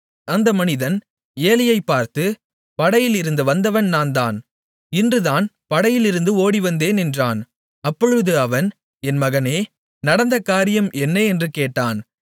அந்த மனிதன் ஏலியைப் பார்த்து படையிலிருந்து வந்தவன் நான்தான் இன்றுதான் படையிலிருந்து ஓடிவந்தேன் என்றான் அப்பொழுது அவன் என் மகனே நடந்த காரியம் என்ன என்று கேட்டான்